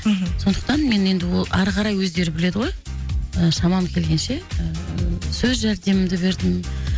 мхм сондықтан мен енді ол ары қарай өздері біледі ғой ы шамам келгенше сөз жәрдемімді бердім